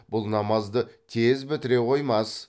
бұл намазды тез бітіре қоймас